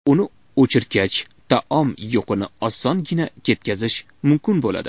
Uni o‘chirgach, taom yuqini osongina ketkazish mumkin bo‘ladi.